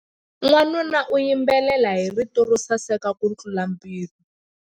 Wanuna u yimbelela hi rito ro saseka kutlula mpimo.